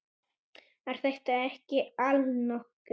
Er þetta ekki allnokkuð?